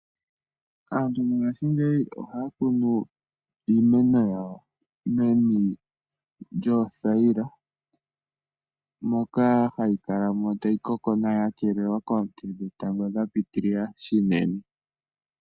Aantu mongashingeyi ohaya kunu iimeno yawo meni lyoothayila moka hayi kala tayi koko nawa ya keelelwa koonte dhetango dhapiitilila shinene.